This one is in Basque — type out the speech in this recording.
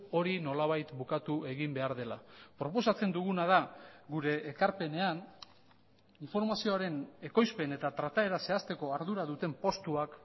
hori nolabait bukatu egin behar dela proposatzen duguna da gure ekarpenean informazioaren ekoizpen eta trataera zehazteko ardura duten postuak